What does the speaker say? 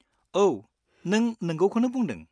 औ, नों नंगौखौनो बुंदों।